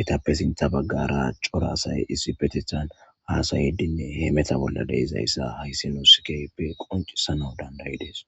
eetappe sinththa baggara coora assay issipetethan hasaidinne hemmetta bolla deizayssa hayssi nusi kehippe qonccisanaw dandaides.